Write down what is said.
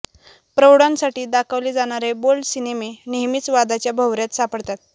प्रौढांसाठी दाखवले जाणारे बोल्ड सिनेमे नेहमीच वादाच्या भोवऱ्यात सापडतात